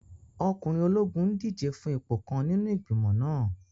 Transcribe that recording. Ọkùnrin ológun n díje fún ipò kan nínú igbimọ̀ náà